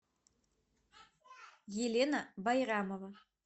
елена байрамова